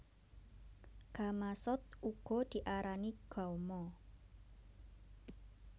Gamasot uga diarani gama